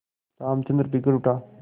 रामचंद्र बिगड़ उठा